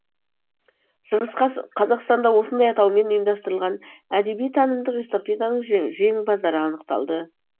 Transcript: шығыс қазақстанда осындай атаумен ұйымдастырылған әдеби танымдық эстафетаның жеңімпаздары анықталды